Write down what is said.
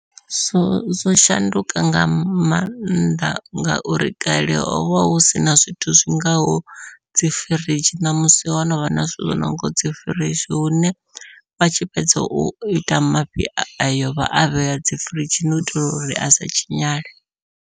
Zwo zwo shanduka nga mannḓa ngauri kale hovha hu sina zwithu zwingaho dzi firidzhi ṋamusi ho novha na zwithu zwo nonga dzi firidzhi, hune vha tshi fhedza u ita mafhi ayo vha a vhea dzi firidzhini u itela uri a sa tshinyale.